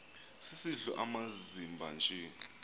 sisidl amazimba nje